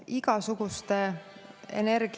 Head küsijad!